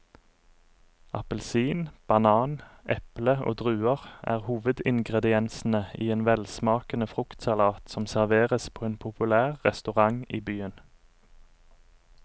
Appelsin, banan, eple og druer er hovedingredienser i en velsmakende fruktsalat som serveres på en populær restaurant i byen.